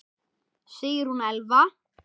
Sigrún Elfa.